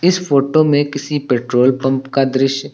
इस फोटो में किसी पेट्रोल पंप का दृश्य--